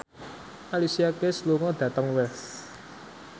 Alicia Keys lunga dhateng Wells